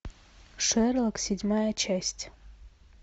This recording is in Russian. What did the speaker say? шерлок седьмая часть